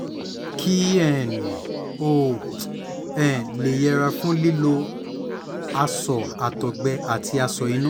kí um o um lè yẹra fún lílo aṣọ àtọ́gbẹ́ àti aṣọ inú